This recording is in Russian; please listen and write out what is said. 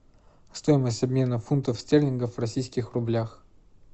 стоимость обмена фунта стерлингов в российских рублях